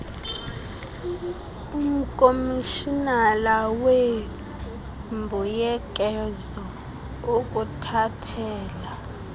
umkomishinala weembuyekezo ukuthathela